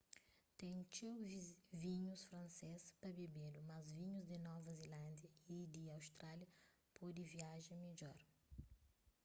ten txeu vinhus fransês pa bebedu mas vinhus di nova zilándia y di austrália pode viaja midjor